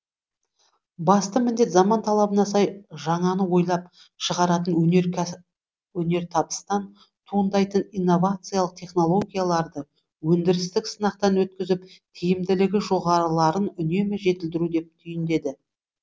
басты міндет заман талабына сай жаңаны ойлап шығаратын өнертабыстан туындайтын инновациялық технологияларды өндірістік сынақтан өткізіп тиімділігі жоғарыларын үнемі жетілдіру деп түйіндеді